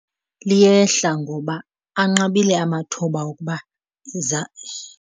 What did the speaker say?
Liyehla ngoba anqabile amathuba okuba iza .